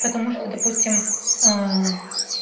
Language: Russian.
потому что допустим